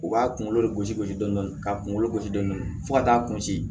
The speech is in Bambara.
U b'a kunkolo gosi gosi dɔɔni dɔɔni k'a kunkolo gosi dɔɔni fo ka taa kunsi